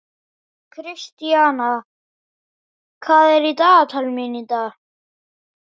Kristian, hvað er í dagatalinu mínu í dag?